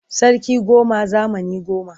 Sarki goma zamani goma.